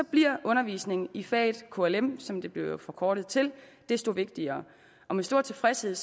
bliver undervisning i faget klm som det jo blev forkortet til desto vigtigere og med stor tilfredshed